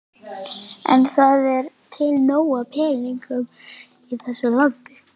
En það er til nóg af peningum í þessu landi.